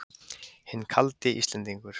Hinn kaldi Íslendingur!